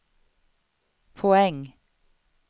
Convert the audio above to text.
poäng